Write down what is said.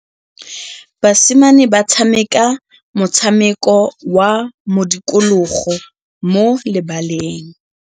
Basimane ba tshameka motshameko wa modikologô mo lebaleng.